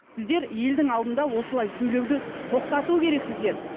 сіздер елдің алдында осылай сөйлеуді тоқтату керексіздер